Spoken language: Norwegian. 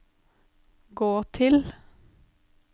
gå til